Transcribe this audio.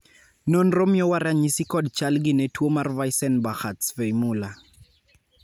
nonro miyowa ranyisi kod chal gi ne tuo mar Weissenbacher Zweymuller